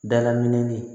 Dala min